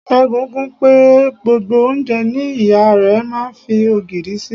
Ségun kùn pé gbogbo oúnjẹ ni ìyá rẹ máa ń fi ogìrì sí.